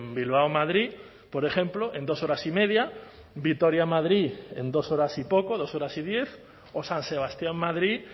bilbao madrid por ejemplo en dos horas y media vitoria madrid en dos horas y poco dos horas y diez o san sebastián madrid